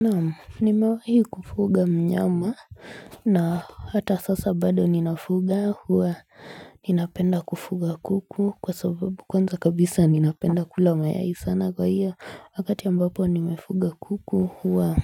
Naam nimewahi kufuga mnyama na hata sasa bado ninafuga huwa ninapenda kufuga kuku kwa sababu kwanza kabisa ninapenda kula mayai sana kwa hiyo wakati ambapo nimefuga kuku huwa